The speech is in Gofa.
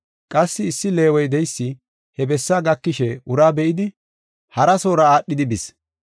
Qassi issi Leewe de7eysi he bessaa gakishe uraa be7idi, hara soora aadhidi bis.